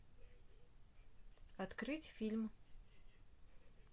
открыть фильм